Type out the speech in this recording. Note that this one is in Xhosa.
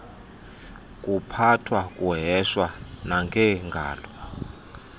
kuphathwa kuheshwa nangengalo